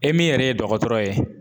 E min yɛrɛ ye dɔgɔtɔrɔ ye.